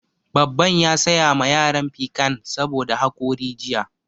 Babban ya saya ma yaran pikan saboda haƙori jiya